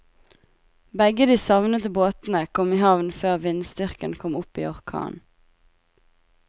Begge de savnede båtene kom i havn før vindstyrken kom opp i orkan.